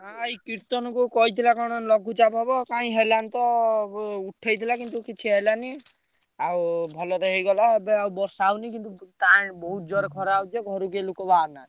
ନା ଏଇ କୀର୍ତ୍ତନକୁ କହିଥିଲା କଣ ଲଘୁଚାପ ହବ କାଇଁ ହେଲାନି ତ ଉ~ ଉଠେଇଥିଲା କିନ୍ତୁ କିଛି ହେଲାନି। ଆଉ ଭଲରେ ହେଇଗଲା ଏବେ ଆଉ ବର୍ଷା ହଉନି କିନ୍ତୁ ଟାଣ ବହୁତ ଜୋରେ ଖରା ହଉଛି ଯେ ଘରୁ କେହି ଲୋକ ବାହାରୁନାହାନ୍ତି।